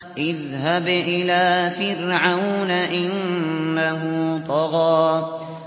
اذْهَبْ إِلَىٰ فِرْعَوْنَ إِنَّهُ طَغَىٰ